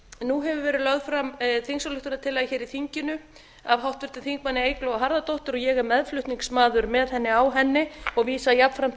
nú hefur verið lögð fram þingsályktunartillaga hér í þinginu af háttvirtum þingmanni eygló harðardóttur og ég er meðflutningsmaður með henni á henni og vísa jafnframt